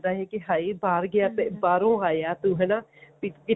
ਕੀ ਹਾਏ ਬਾਹਰ ਗਿਆ ਤੇ ਬਾਹਰੋਂ ਆਇਆ ਤੂੰ ਹਨਾ ਵੀ ਜੇ